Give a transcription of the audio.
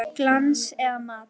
Glans eða matt?